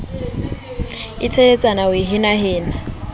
e teletsana ho e henahena